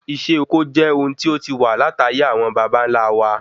isé oko je ohun tí o ti wa lataye awon babanla wa